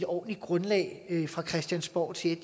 ordentligt grundlag fra christiansborgs side